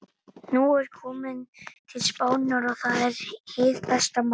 Nú er ég kominn til Spánar. og það er hið besta mál.